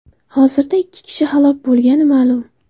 Hozirda ikki kishi halok bo‘lgani ma’lum .